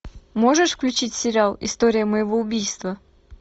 можешь включить сериал история моего убийства